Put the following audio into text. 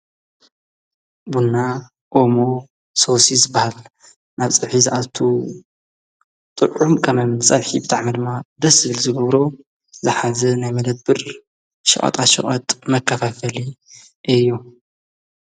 ብና ኦሞ ሶሲ ዝበሃል ናብ ጽሒ ዝኣቱ ጥዑ ም ቀመም ጸፍሒብታዕ መልማ ደስብል ዝበብሮ ዝሓዘ ናይ መለት ብር ሸዖጣ ሸዖጥ መካፈፈሊ እዮ::